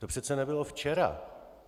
To přece nebylo včera.